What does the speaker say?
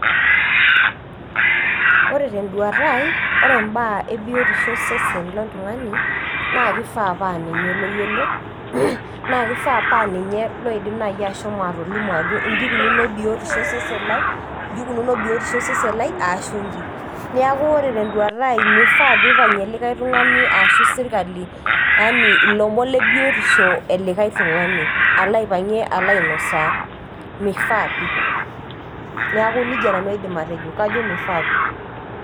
Ore tenduata ai ore imbaa e biotisho o sesen loltung'ano naa keishaa naa ninye oyiolo, naa keifaa naa ninye olo alimu ajo inchi eikununo biotisho osesen lai, ashu injo, neaku ore tenduata ai meifaa pee eipang'ie likai tung'ani ashu sirkali yaani ilomon le biotisho e likai tung'ani aloo aipang'ie alo ainosaa, meifaa pi, neaku neija nanu aidim atejo meifaa pii.